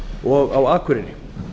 og á akureyri